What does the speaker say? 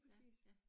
Ja, ja